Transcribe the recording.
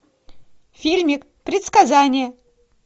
фильмик предсказание